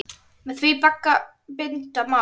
Með því bagga binda má.